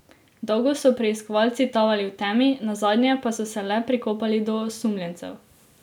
Dolgo so preiskovalci tavali v temi, nazadnje pa so se le prikopali do osumljencev.